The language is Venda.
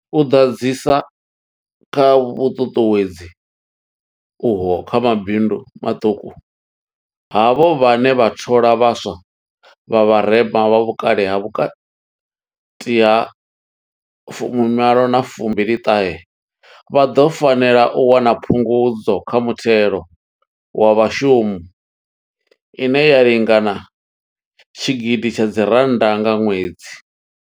U ḓadzisa kha vhuṱuṱuwedzi uho kha mabindu maṱuku, havho vhane vha thola vha swa vha vharema, vha vhukale ha vhukati ha fumi malo na fumi ṱahe, vha ḓo fanela u wana phungudzo kha muthelo wa vhashumi ine ya lingana tshigidi tsha dzi rannda nga ṅwedzi.